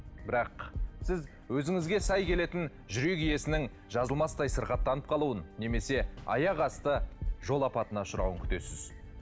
бірақ сіз өзіңізге сай келетін жүрек иесінің жазылмастай сырқаттанып қалуын немесе аяқ асты жол апатына ұшырауын күтесіз